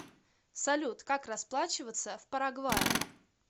салют как расплачиваться в парагвае